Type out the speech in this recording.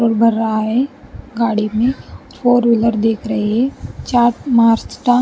petrol भर रहा है गाड़ी में फोर व्हीलर दिख रही चार्ट मार्क्स --